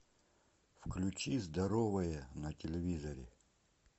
включи здоровое на телевизоре